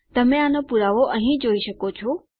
તમે આનો પુરાવો અહીં જોઈ શકો છો